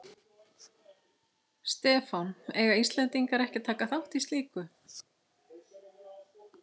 Stefán: Eiga Íslendingar ekki að taka þátt í slíku?